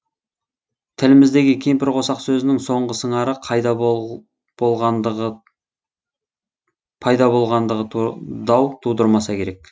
тіліміздегі кемпірқосақ сөзінің соңғы сыңары пайда болғандығы дау тудырмаса керек